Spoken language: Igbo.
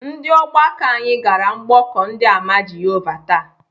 Ndị ọgbakọ anyị gara mgbọkọ ndị àmà Jehovah taa.